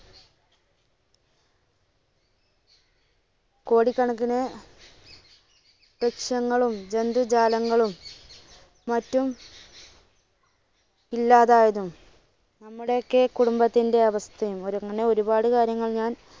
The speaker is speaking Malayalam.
കോടിക്കണക്കിന് വൃക്ഷങ്ങളും ജന്തുജാലങ്ങളും മറ്റും ഇല്ലാതായതും നമ്മുടെയൊക്കെ കുടുംബത്തിന്റെ അവസ്ഥയും അങ്ങനെ ഒരുപാട് കാര്യങ്ങൾ ഞാൻ